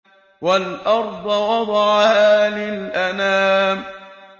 وَالْأَرْضَ وَضَعَهَا لِلْأَنَامِ